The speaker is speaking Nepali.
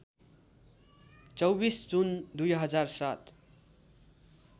२४ जुन २००७